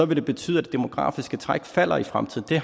det betyde at det demografiske træk falder i fremtiden det